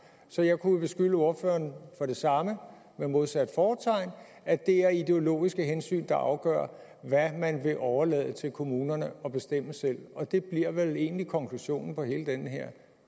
så jeg kunne jo beskylde ordføreren for det samme med modsat fortegn at det er ideologiske hensyn der afgør hvad man vil overlade til kommunerne at bestemme selv og det bliver vel egentlig konklusionen på hele den her